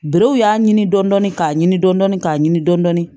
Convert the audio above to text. Berew y'a ɲini dɔndɔni k'a ɲini dɔndɔni k'a ɲini dɔn dɔni